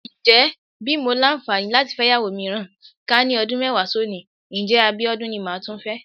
Ǹjẹ́ bí mo làǹfààní láti fẹ́yàwó mìíràn, ká ní ọdún mẹ́wàá sónìí, ǹjẹ́ Abíọ́dún ni máa tún fẹ́ bí?